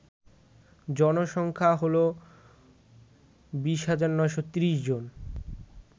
জনসংখ্যা হল ২০৯৩০ জন